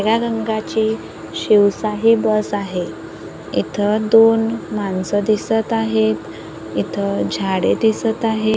निळ्या रंगाचे शिवशाही बस आहे इथ दोन माणसं दिसत आहेत इथ झाडे दिसत आहे.